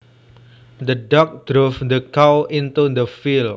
The dogs drove the cows into the field